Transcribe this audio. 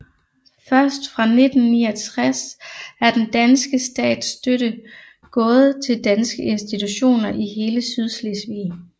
Først fra 1969 er den danske stats støtte gået til danske institutioner i hele Sydslesvig